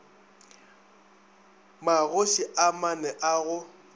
magoši a mane a go